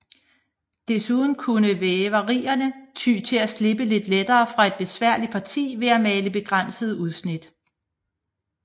Desuden kunne væverierne ty til at slippe lidt lettere fra et besværligt parti ved at male begrænsede udsnit